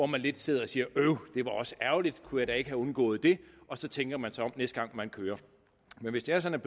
man lidt sidder og siger øv det var også ærgerligt kunne jeg da ikke have undgået det og så tænker man sig om næste gang man kører men hvis det er sådan